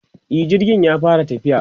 e jirgin ya fara tafiya